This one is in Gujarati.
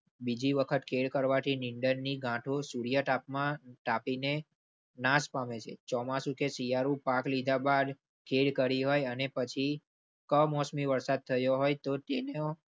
બીજી વખત ખેડ કરવાથી નિધનની ગાંઠો સૂર્યા તાપમાન તાપી ને નાસ પામે છે. ચોમાસું કે શિયાળુ પાક લીધા બાદ ખેડ કરી અને પછી કમોસમી વરસાદ થયો હોય તો તેનો